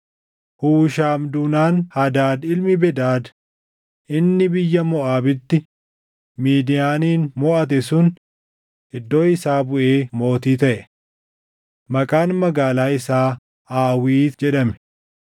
Hushaam duunaan Hadaad ilmi Bedad inni biyya Moʼaabitti Midiyaanin moʼate sun iddoo isaa buʼee mootii taʼe. Maqaan magaalaa isaa Aawiit jedhame.